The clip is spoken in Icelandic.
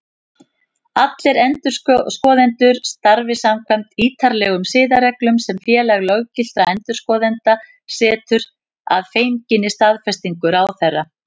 Allir endurskoðendur starfi samkvæmt ítarlegum siðareglum sem Félag löggiltra endurskoðenda setur, að fenginni staðfestingu ráðherra.